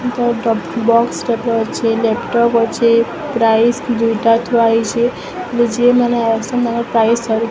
ବାକ୍ସ ଟାଇପ୍ ର ଅଛି ଲ୍ୟାପଟପ୍ ଅଛି ପ୍ରାଇସ ଦୁଇଟା ଥୁଆ ହେଇଛି ହେଲେ ଯିଏ ମାନେ ଆସୁଛନ୍ତି ତାଙ୍କର ପ୍ରାଇସ --